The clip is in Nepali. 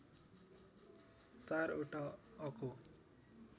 ४ वटा अको